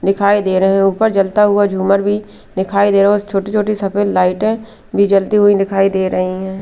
दिखाई दे रहे है ऊपर जलता हुआ झूमर भी दिखाई दे रहा है छोटी छोटी सफेद लाइटे भी जलती हुई दिखाई दे रही हैं।